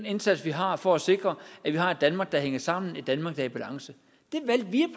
indsats vi har for at sikre at vi har et danmark der hænger sammen et danmark der er i balance